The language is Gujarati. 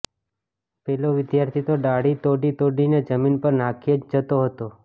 પેલો વિદ્યાર્થી તો ડાળી તોડીતોડીને જમીન પર નાખ્યે જ જતો હતો